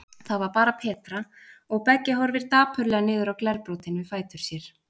Það var bara Petra, og Beggi horfir dapurlega niður á glerbrotin við fætur sér.